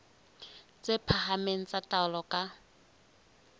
tse phahameng tsa taolo ka